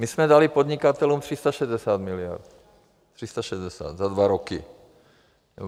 My jsme dali podnikatelům 360 miliard, 360 za dva roky.